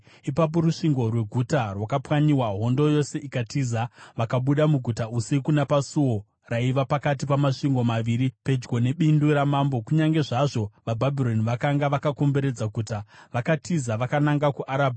Ipapo rusvingo rweguta rwakapwanyiwa, hondo yose ikatiza. Vakabuda muguta usiku napasuo raiva pakati pamasvingo maviri pedyo nebindu ramambo, kunyange zvazvo vaBhabhironi vakanga vakakomberedza guta. Vakatiza vakananga kuArabha,